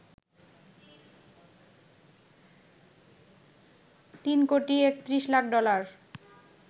৩ কোটি ৩১ লাখ ডলার